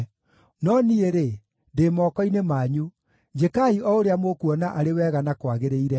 No niĩ-rĩ, ndĩ moko-inĩ manyu; njĩkai o ũrĩa mũkuona arĩ wega na kwagĩrĩire.